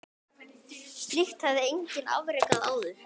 Slíkt hafði enginn afrekað áður.